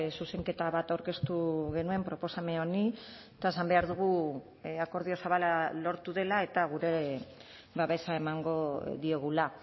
zuzenketa bat aurkeztu genuen proposamen honi eta esan behar dugu akordio zabala lortu dela eta gure babesa emango diogula